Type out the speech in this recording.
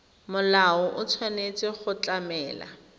molao o tshwanetse go tlamela